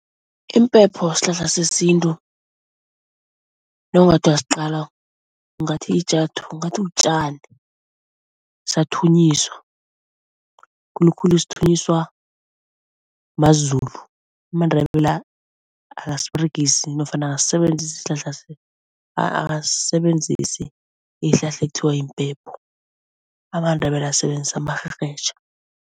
Impepho sihlahla sesintu nawungathi uyasiqala ungathi ungathi butjani, siyathunyiswa. Khulukhulu sithunyiswa maZulu, amaNdebele akasiberegisi nofana akasisebenzisi isihlahla akasisebenzisi iinhlahla ekuthiwa yimpepho, amaNdebele asebenzisa amarherhetjha.